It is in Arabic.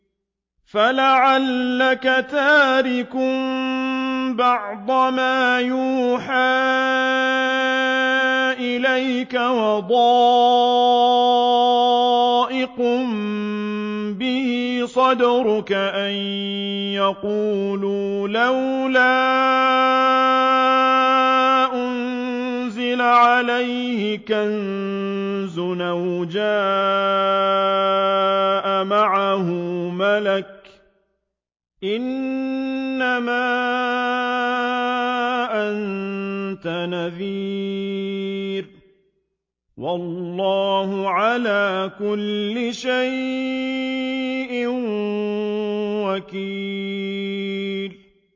فَلَعَلَّكَ تَارِكٌ بَعْضَ مَا يُوحَىٰ إِلَيْكَ وَضَائِقٌ بِهِ صَدْرُكَ أَن يَقُولُوا لَوْلَا أُنزِلَ عَلَيْهِ كَنزٌ أَوْ جَاءَ مَعَهُ مَلَكٌ ۚ إِنَّمَا أَنتَ نَذِيرٌ ۚ وَاللَّهُ عَلَىٰ كُلِّ شَيْءٍ وَكِيلٌ